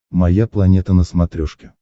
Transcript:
моя планета на смотрешке